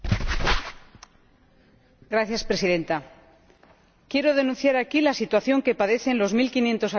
Señora Presidenta, quiero denunciar aquí la situación que padecen los mil quinientos habitantes del Condado de Treviño.